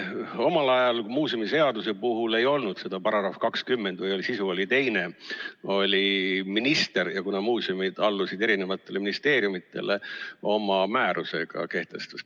Omal ajal muuseumiseaduse puhul ei olnud seda § 20 või oli sisu teine, ja kuna muuseumid allusid eri ministeeriumidele, siis minister oma määrusega kehtestas.